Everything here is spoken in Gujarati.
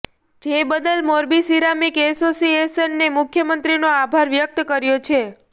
જે બદલ મોરબી સીરામીક એસોસિએશને મુખ્યમંત્રીનો આભાર વ્યક્ત કર્યો છે